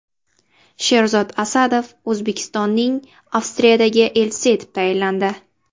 Sherzod Asadov O‘zbekistonning Avstriyadagi elchisi etib tayinlandi.